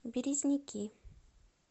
березники